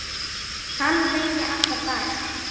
Hann vinni alla daga.